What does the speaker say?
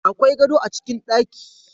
Akwai gado a cikin ɗaki